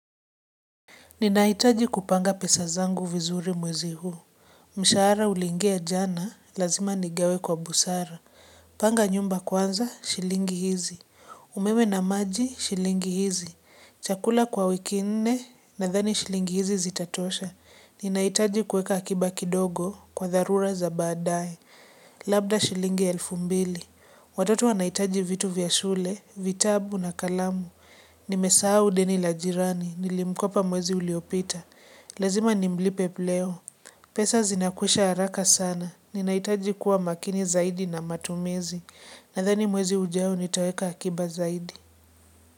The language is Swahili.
Ninahitaji kupanga pesa zangu vizuri mwezi huu. Mshahara ulingia jana, lazima nigawe kwa busara. Panga nyumba kwanza shilingi hizi. Umeme na maji, shilingi hizi. Chakula kwa wiki nne, nadhani shilingi hizi zitatosha. Ninahitaji kuweka akiba kidogo kwa dharura za baadaye. Labda shilingi elfu mbili. Watoto wanahitaji vitu vya shule, vitabu na kalamu. Nimesahau deni la jirani, nilimkopa mwezi uliopita, lazima nimlipe leo. Pesa zinakwisha haraka sana. Ninahitaji kuwa makini zaidi na matumizi. Nadhani mwezi ujao nitaweka akiba zaidi.